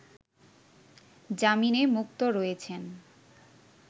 জামিনে মুক্ত রয়েছেন